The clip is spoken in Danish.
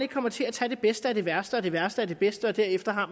kommer til at tage det bedste af det værste og det værste af det bedste og derefter har